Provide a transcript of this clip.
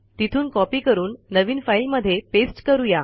तिथून कॉपी करून नवीन फाईल मध्ये पेस्ट करू या